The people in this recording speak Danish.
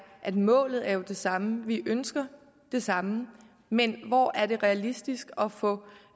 at målet er det samme vi ønsker det samme men hvor er det realistisk at få